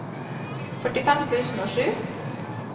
førtifem tusen og sju